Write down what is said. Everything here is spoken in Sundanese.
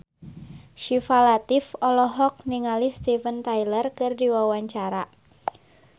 Syifa Latief olohok ningali Steven Tyler keur diwawancara